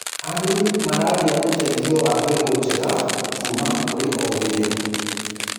arĩmi maragia uteithio wa mbegũ njega kuma kũri ogiriru